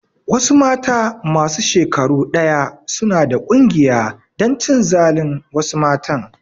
Wasu mata masu shekaru ɗaya suna da ƙungiya dan cin zalin wasu matan